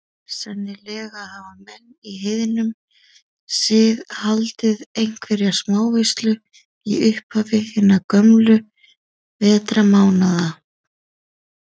Sennilega hafa menn í heiðnum sið haldið einhverja smáveislu í upphafi hinna gömlu vetrarmánaða.